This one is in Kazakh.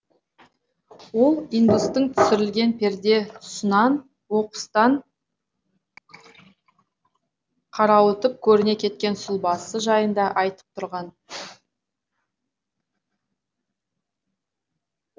ол индустың түсірілген перде тұсынан оқыстан қарауытып көріне кеткен сұлбасы жайында айтып тұрған